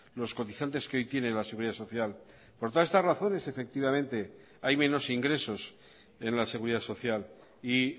los cotizantes que hoy tiene la seguridad social por todas estas razones efectivamente hay menos ingresos en la seguridad social y